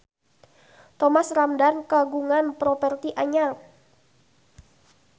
Thomas Ramdhan kagungan properti anyar